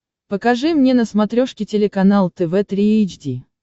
покажи мне на смотрешке телеканал тв три эйч ди